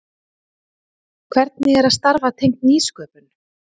Hvernig er að starfa tengt nýsköpun?